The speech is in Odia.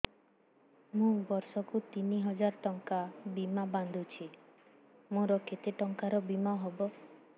ମୁ ବର୍ଷ କୁ ତିନି ହଜାର ଟଙ୍କା ବୀମା ବାନ୍ଧୁଛି ମୋର କେତେ ଟଙ୍କାର ବୀମା ହବ